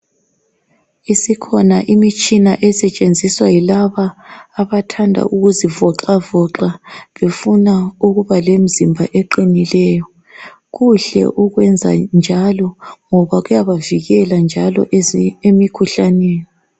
Isikhona imitshina esisetshenziswa yilabo abathanda ukwelula imizimba ukuzi iqine. kuhle ukwenza njalo ngoba kuyabavikela emikhuhlaneni.